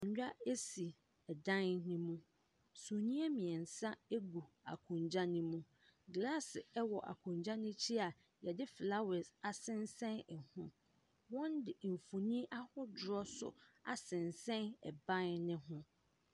Akonnwa mmiɛnsa si dan no mu. Sumiiɛ mmiɛnsa gu akonnwa no mu. Glass wɔ akonnwa no akyi a yɛde flowers asensn so. Wɔde mfoni ahodoɔ nso aseɛn ɛban no ho.